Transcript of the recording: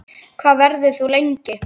Hvað verður þú lengi?